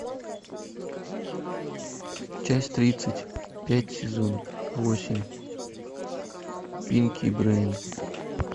часть тридцать пять сезон восемь пинки и брейн